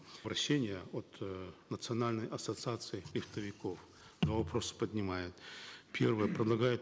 обращения от э национальной ассоциации но вопросы поднимают первое предлагают